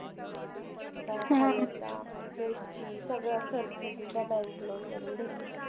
सगळा खर्च सुद्धा bank loan म्हणून देते.